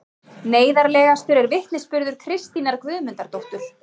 Neyðarlegastur er vitnisburður Kristínar Guðmundardóttur